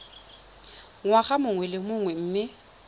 ngwaga mongwe le mongwe mme